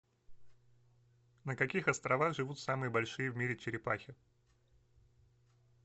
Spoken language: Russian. на каких островах живут самые большие в мире черепахи